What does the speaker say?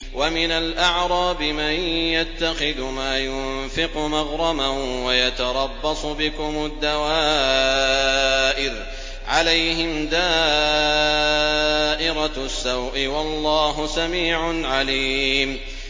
وَمِنَ الْأَعْرَابِ مَن يَتَّخِذُ مَا يُنفِقُ مَغْرَمًا وَيَتَرَبَّصُ بِكُمُ الدَّوَائِرَ ۚ عَلَيْهِمْ دَائِرَةُ السَّوْءِ ۗ وَاللَّهُ سَمِيعٌ عَلِيمٌ